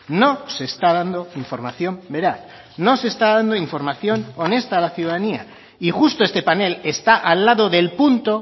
no se está dando información veraz no se está dando información honesta a la ciudadanía y justo este panel está al lado del punto